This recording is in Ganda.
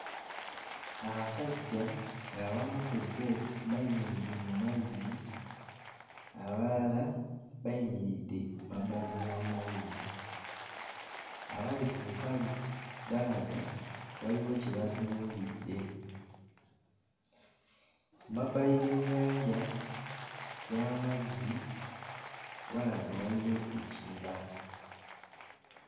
Abasajja ng'abamu ku bo bayimiridde mu mazzi, abalala bayimiridde mabbali g'amazzi. Abali ku lukalu balaga waliwo kye batunuulidde. Emabbali g'ennyanja y'amazzi walaga waliwo ekibira.